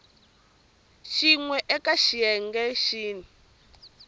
xin we eka xiyenge xin